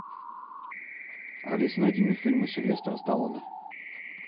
алиса найди мне фильмы сильвестра сталлоне